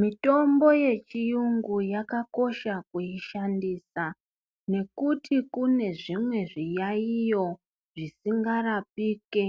Mitombo yechiyungu yakakosha kuishandisa nekuti kune zvimwe zviyayiyo zvisingarapike